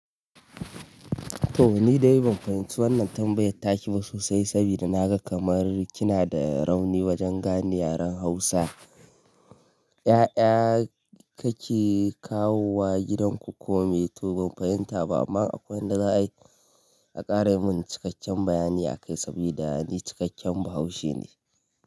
To ni dai ban fahimci wannan tambayar take ba sosai saboda naga kamar kina da rauni wajen gane yaren hausa. 'Ya'ya kake kawowa gidanku kome to ban fahimta ba amma akwai wanda za a yi, a ƙara mun cikakken bayani akai saboda ni cikakken bahaushe ne.